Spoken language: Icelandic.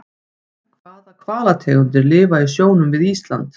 Hvaða hvalategundir lifa í sjónum við Ísland?